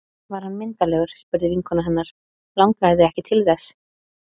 Var hann myndarlegur? spurði vinkona hennar Langaði þig ekki til þess?